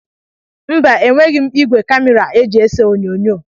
Mba, enweghị m ìgwè kamịra e ji ese onyoonyo